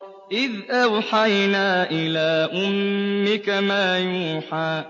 إِذْ أَوْحَيْنَا إِلَىٰ أُمِّكَ مَا يُوحَىٰ